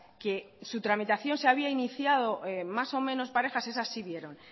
que su tramitación se había iniciado más o menos parejas esas sí vieron